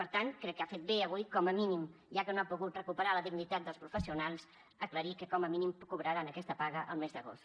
per tant crec que ha fet bé avui com a mínim ja que no ha pogut recuperar la dignitat dels professionals aclarir que com a mínim cobraran aquesta paga el mes d’agost